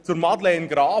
Zu Madeleine Graf: